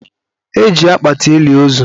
E ji akpati eli ozu.